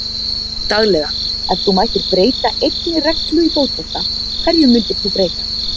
Daglega Ef þú mættir breyta einni reglu í fótbolta, hverju myndir þú breyta?